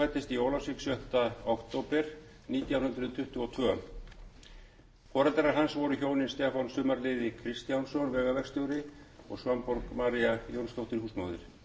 stefánsson fæddist í ólafsvík sjötta október nítján hundruð tuttugu og tveir foreldrar hans voru hjónin stefán sumarliði kristjánsson vegaverkstjóri og svanborg maría jónsdóttir húsmóðir auk